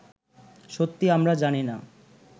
সত্যি আমরা জানি না